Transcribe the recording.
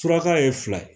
Suraka ye fila ye